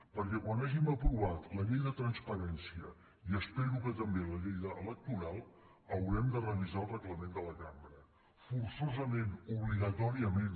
perquè quan hàgim aprovat la llei de transparència i espero que també la llei electoral haurem de revisar el reglament de la cambra forçosament obligatòriament